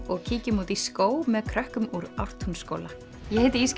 og kíkjum út í skóg með krökkum úr Ártúnsskóla ég heiti